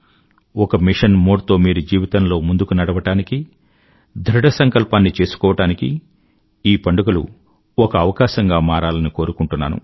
ఒక mission mode తో మీరు జీవితంలో ముందుకు నడవడానికీ ధృఢ సంకల్పాన్ని చేసుకోవడానికీ ఈ పండుగలు ఒక అవకాశంగా మారాలని కోరుకుంటున్నాను